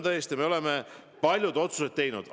Tõesti, me oleme palju otsuseid teinud.